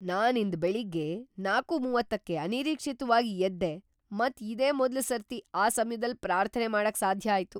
ನಾನ್ ಇಂದ್ ಬೆಳಿಗ್ಗೆ ನಾಲ್ಕು:ಮೂವತ್ತಕ್ಕ್ಕೆ ಅನಿರೀಕ್ಷಿತವಾಗ್ ಎದ್ದೆ ಮತ್ ಇದೆ ಮೊದ್ಲ ಸರ್ತಿ ಆ ಸಮ್ಯದಲ್ ಪ್ರಾರ್ಥನೆ ಮಾಡಕ್ ಸಾಧ್ಯ ಆಯ್ತು.